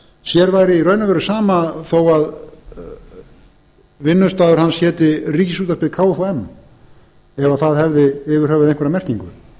sér væri í raun og veru sama þó vinnustaður hans héti ríkisútvarpið kfum ef það hefði yfir höfuð einhverja merkingu